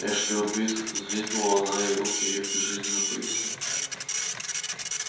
эшли убит взвизгнула она и руки её безжизненно повисли